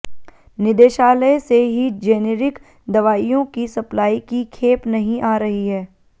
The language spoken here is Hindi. निदेशालय से ही जेनेरिक दवाइयों की सप्लाई की खेप नहीं आ रही है